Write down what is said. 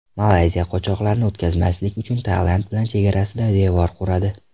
Malayziya qochoqlarni o‘tkazmaslik uchun Tailand bilan chegarasida devor quradi.